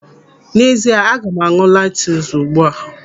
N'ezie, aga m an̄ụ lantus ugbu a.